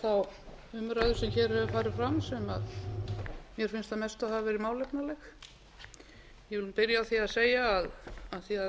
mestu hafa verið málefnaleg ég vil byrja á því að segja af því að